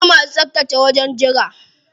Akwai masu tsaftace wajen jira.